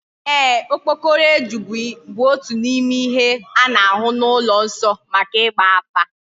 Eeh, okpokoro eju bu otu n'ime ihe a na-ahu n'ulo nso maka igba afa.